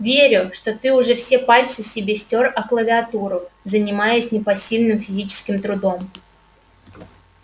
верю что ты уже все пальцы себе стёр о клавиатуру занимаясь непосильным физическим трудом